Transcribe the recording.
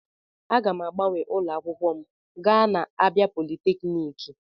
Aga m agbanwe ụlọ akwụkwọ gaa na Abia polytechniki.